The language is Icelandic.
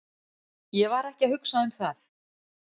Ég var ekki að hugsa um það.